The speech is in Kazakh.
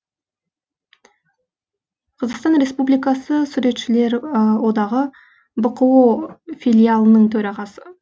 қазақстан республикасы суретшілер одағы бқо филиалының төрағасы